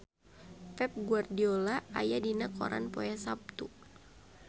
Pep Guardiola aya dina koran poe Saptu